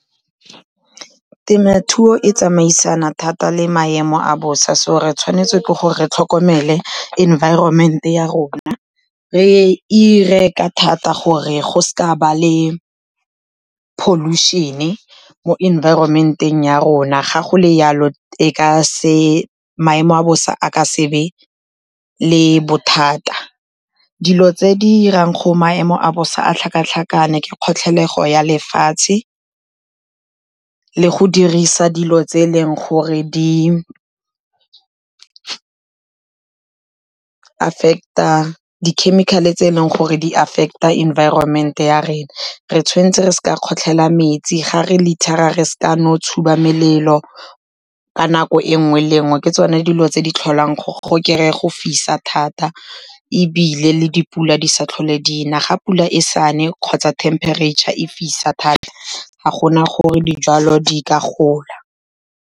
Temothuo e tsamaisana thata le maemo a bosa so re tshwanetse ke gore re tlhokomele enviroment ya rona. Re dire ka thata gore go se ka go a nna le pollution, mo enviroment-eng ya rona. Ga go le yalo maemo a bosa a ka se be le bothata. Dilo tse di dirang go maemo a bosa a tlhakatlhakane ke kgotlhelego ya lefatshe, le go dirisa dilo tse eleng gore dikhemikhale tse e leng gore di affect-a environment ya rena. Re tshwanetse re seka ra kgotlhela metsi, ga re litter-ra re sekano tshuba melelo ka nako e nngwe le nngwe, ke tsone dilo tse di tlholang, go kry-a go fisa thata. Ebile le dipula di sa tlhole dina, ga pula e sa ne kgotsa thempereitšha e fisa thata ga gona gore dijalo di ka gola.